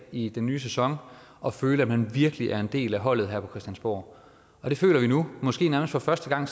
i den nye sæson og føle at man virkelig er en del af holdet her på christiansborg og det føler vi nu og måske nærmest for første gang